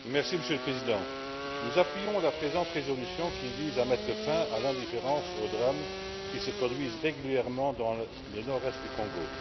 Monsieur le Président, nous appuyons la présente résolution qui vise à mettre fin à l'indifférence et aux drames qui se produisent régulièrement dans le nord est du Congo.